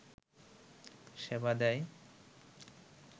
সেবা দেয়